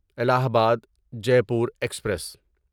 الہ آباد Jaipur express